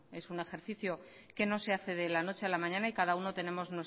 es un ejercicio que no se hace de la noche a la mañana y cada uno tenemos